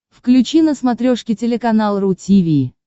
включи на смотрешке телеканал ру ти ви